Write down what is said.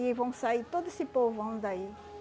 E vão sair todo esse povão daí.